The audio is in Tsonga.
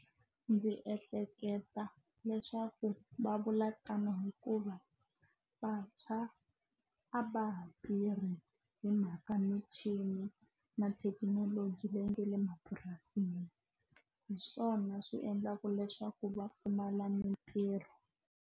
Ndzi ehleketa leswaku va vula tano hikuva vantshwa a va ha tirhi hi mhaka michini na thekinoloji leyi nga le mapurasini hi swona swi endlaka leswaku va pfumala mintirho.